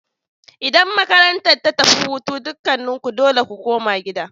Idan makarantar ta tafi hutu, dukanku dole ku koma gida!